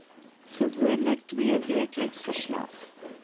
gewoonlik tweeweekliks verslag